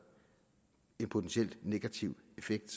en potentiel negativ effekt